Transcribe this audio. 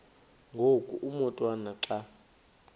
ngoku umotwana xa